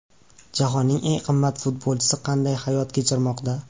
Jahonning eng qimmat futbolchisi qanday hayot kechirmoqda?